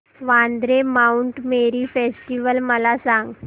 Vandre Mount Mary festival मला सांग